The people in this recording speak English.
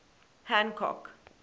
hancock